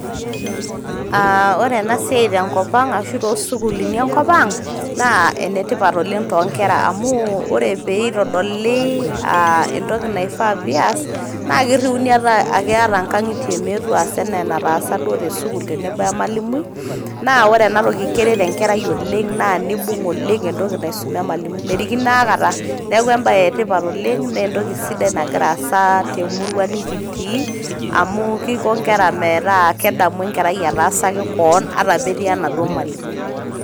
Aa ore ena siai tenkopang ashu toosukulini enkopang naa enetipat oleng toonkera amu ore pitodoli entoki naifaa peas naa kiriuni ata ake nataasa duo tesukuul tenebo we emawalimui na ore ena toki naa keret enkarai oleng naa nibung oleng entoki naisuma emwalimui merikino aikata.